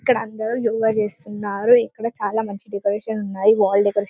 ఇక్కడ అందరూ యోగ చేస్తున్నారు ఇక్కడ చాల మంచి డెకరేషన్ ఉన్నాయి వాల్ డెకరేషన్ --